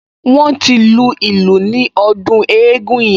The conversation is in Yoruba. Wọ́n ti lu ìlù ní ọdún eégún yẹn